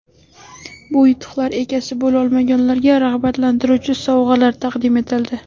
Bu yutuqlar egasi bo‘la olmaganlarga rag‘batlantiruvchi sovg‘alar taqdim etildi.